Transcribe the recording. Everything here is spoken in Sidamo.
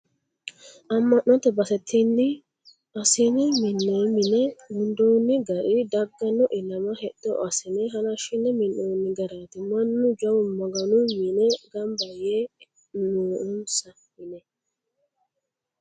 Ama'note base tinu assine mine mine gundoni gari dagano ilama hexxo assine halashine minonni garati mannu jawu Maganu mine gamba yaa noonsa yine.